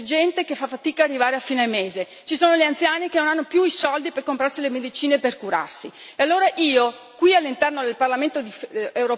So anche però che in Italia ci sono molti disoccupati c'è gente che fa fatica arrivare a fine mese, ci sono gli anziani che non hanno più i soldi per comprarsi le medicine per curarsi.